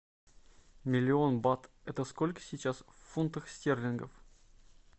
миллион бат это сколько сейчас в фунтах стерлингов